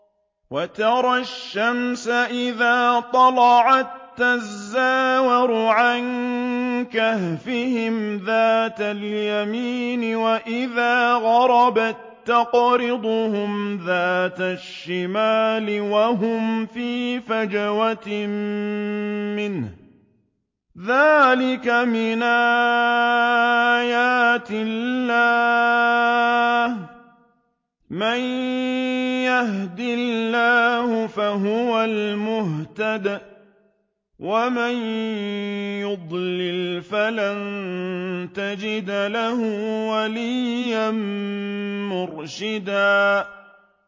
۞ وَتَرَى الشَّمْسَ إِذَا طَلَعَت تَّزَاوَرُ عَن كَهْفِهِمْ ذَاتَ الْيَمِينِ وَإِذَا غَرَبَت تَّقْرِضُهُمْ ذَاتَ الشِّمَالِ وَهُمْ فِي فَجْوَةٍ مِّنْهُ ۚ ذَٰلِكَ مِنْ آيَاتِ اللَّهِ ۗ مَن يَهْدِ اللَّهُ فَهُوَ الْمُهْتَدِ ۖ وَمَن يُضْلِلْ فَلَن تَجِدَ لَهُ وَلِيًّا مُّرْشِدًا